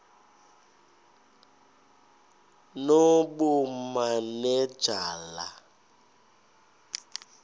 nobumanejala